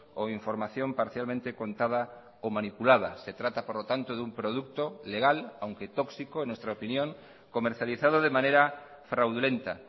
o información parcialmente contada o manipulada se trata por lo tanto de un producto legal aunque tóxico en nuestra opinión comercializado de manera fraudulenta